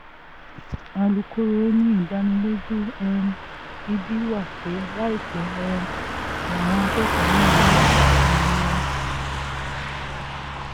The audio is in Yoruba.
alukóró ni ìdánilójú um gidi wà pé láìpẹ́ um làwọn akẹ́kọ̀ọ́ náà máa gba òmìnira